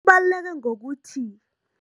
Kubaluleke ngokuthi.